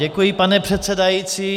Děkuji, pane předsedající.